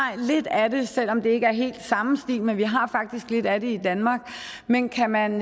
lidt af det selv om det ikke er helt samme stil men vi har faktisk lidt af det i danmark men kan man